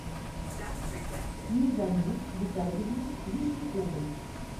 низами витальевну вишнякову